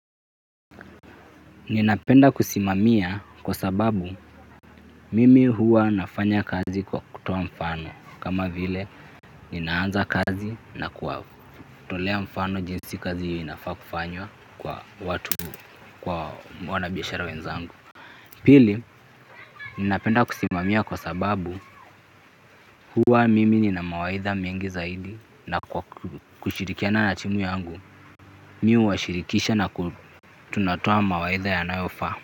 Ninapenda kusimamia kwa sababu mimi huwa nafanya kazi kwa kutoa mfano kama vile, ninaanza kazi na kuwatolea mfano jinsi kazi hiyo inafaa kufanywa kwa watu kwa wanabiashara wenzangu. Pili, ninapenda kusimamia kwa sababu huwa mimi nina mawaidha mengi zaidi na kushirikiana na timu yangu, mi huwashirikisha na tunatoa mawaidha yanayofaa.